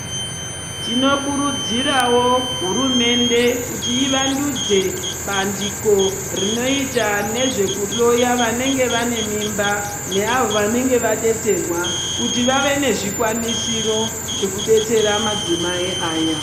Tinokurudzirawo hurumende kuti ivandudze bandiko rinoita nezvekuhloya ,kuti ribatsire vanenge vane mimba ,neavo vanenge vadetserwa kuti vave nezvikwanisiro zvekudetsera madzimai aya.